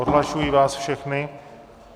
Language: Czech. Odhlašuji vás všechny.